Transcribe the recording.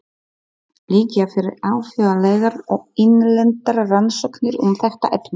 Liggja fyrir alþjóðlegar og innlendar rannsóknir um þetta efni?